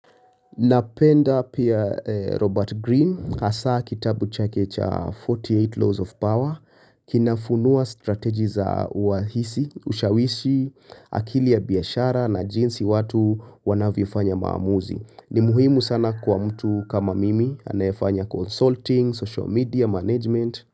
Napenda pia Robert Greene hasa kitabu chake cha 48 laws of power kinafunua strategi za uahisi ushawishi akili ya biashara na jinsi watu wanavyofanya maamuzi. Ni muhimu sana kwa mtu kama mimi anayefanya consulting, social media management.